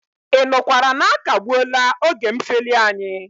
Ị nụkwara na akagbuela oge mfeli anyị?